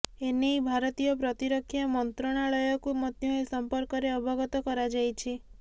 ଏନେଇ ଭାରତୀୟ ପ୍ରତିରକ୍ଷା ମନ୍ତ୍ରଣାଳୟକୁ ମଧ୍ୟ ଏ ସଂପର୍କରେ ଅବଗତ କରାଯାଇଛି